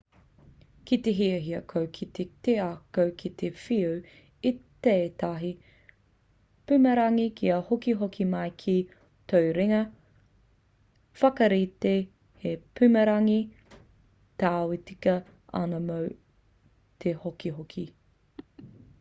ki te hiahia koe ki te ako ki te whiu i tētahi pumarangi ka hokihoki mai ki tō ringa whakaritea he pumarangi tāu e tika ana mō te hokihoki